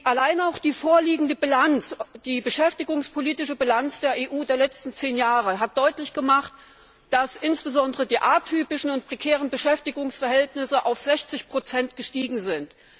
Allein auch die vorliegende beschäftigungspolitische Bilanz der EU der letzten zehn Jahre hat deutlich gemacht, dass insbesondere die atypischen und prekären Beschäftigungsverhältnisse auf 60 gestiegen sind.